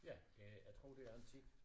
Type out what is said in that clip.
Ja det jeg tror det er antikt